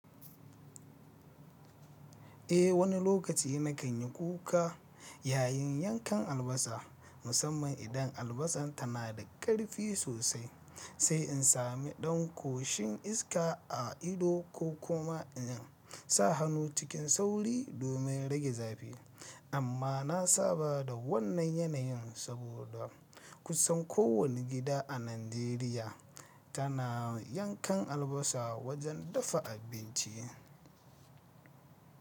Eh wani lokaci na kan yi kuka yayin yankan albasa musamman idan albasan tana da karfi sosai sai in sami ɗan ƙoshin iska a ido ko kuma in sa hannu cikin sauri domin rage zafi. Amma na saba da wannan yanayin saboda kusan kowane gida a Najeriya tana yankan albasa wajen dafa abinci.